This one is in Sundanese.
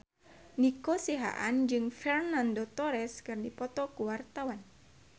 Nico Siahaan jeung Fernando Torres keur dipoto ku wartawan